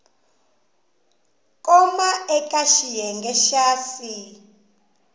koma eka xiyenge xa c